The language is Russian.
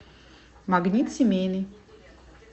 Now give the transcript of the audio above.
магнит семейный